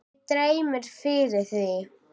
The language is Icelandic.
Mig dreymdi fyrir því.